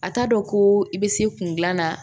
A t'a dɔn ko i bɛ se kun gilan na